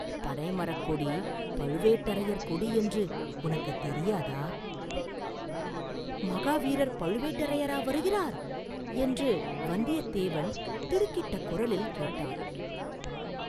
பனைமரக் கொடி பழுவேட்டரையர் கொடி என்று உனக்குத் தெரியாதா?” “மகாவீரர் பழுவேட்டரையரா வருகிறார்?” என்று வந்தியத்தேவன் திடுக்கிட்ட குரலில் கேட்டான்.